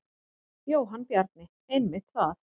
Jóhann Bjarni: Einmitt það.